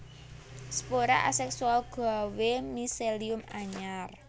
Spora aséksual gawé miselium anyar